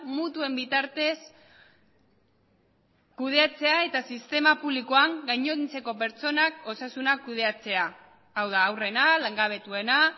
mutuen bitartez kudeatzea eta sistema publikoan gainontzeko pertsonak osasuna kudeatzea hau da haurrena langabetuena